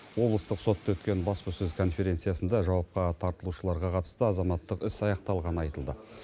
облыстық сотта өткен баспасөз конференциясында жауапқа тартылушыларға қатысты азаматтық іс аяқталғаны айтылды